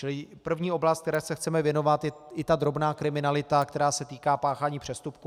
Čili první oblast, které se chceme věnovat, je i ta drobná kriminalita, která se týká páchání přestupků.